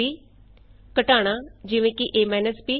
ab ਘਟਾਨਾ subtraction subtraction easy